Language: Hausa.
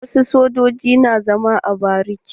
Wasu sojojin na zama a bariki.